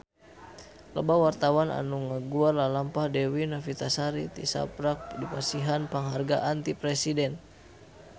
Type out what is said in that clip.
Loba wartawan anu ngaguar lalampahan Dewi Novitasari tisaprak dipasihan panghargaan ti Presiden